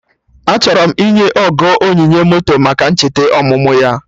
Achọrọ m inye Ogo onyinye moto maka ncheta ọmụmụ ya